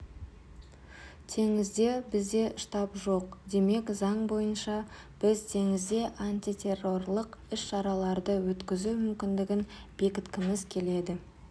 теңізде бізде штаб жоқ демек заң бойынша біз теңізде антитеррорлық іс-шараларды өткізу мүмкіндігін бекіткіміз келеді